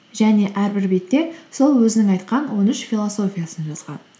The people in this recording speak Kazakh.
және әрбір бетте сол өзінің айтқан он үш философиясын жазған